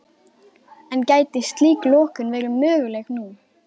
En gæti slík lokun verið möguleg nú?